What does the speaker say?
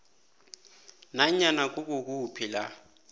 nanyana kukuphi la